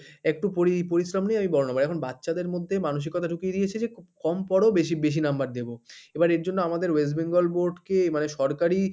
একটু পরি~পরিশ্রম নিয়ে আমি বড়ো, এখন বাচ্চাদের মধ্যে মানসিকতা ঢুকিয়ে দিয়েছে যে খুব কম পড়ো বেশি বেশি number দেবো এবার এর জন্য আমাদের West Bengal board কে মানে সরকারি